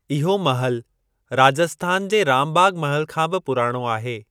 इहो महल राजस्थान जे राम बाग़ महल खां बि पुराणो आहे।